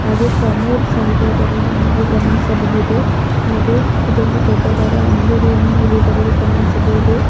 ಹಾಗೆ ಕಾಮೌಡ್ ಸಹಿತ ಇದರಲ್ಲಿ ನೀವು ಗಮನಿಸಬಹುದು ಹಾಗೆ ಇದೊಂದು ದೊಡ್ಡದಾದ ಅಂಗಡಿಯನ್ನು ನೀವು ಇದರಲ್ಲಿ ಗಮನಿಸಬಹುದು.